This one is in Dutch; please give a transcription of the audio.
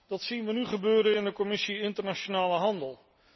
Dat zien we nu gebeuren in de Commissie Internationale handel.